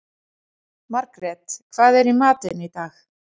Margret, hver er dagsetningin í dag?